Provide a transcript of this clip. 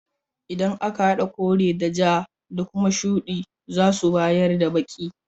Idan aka hada kore da ja da kuma shudi zasu bayar da baki.